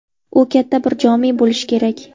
U katta bir jome bo‘lishi kerak.